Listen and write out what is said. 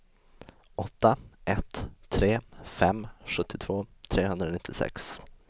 åtta ett tre fem sjuttiotvå trehundranittiosex